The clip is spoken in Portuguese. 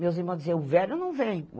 Meus irmãos diziam, o velho não vem.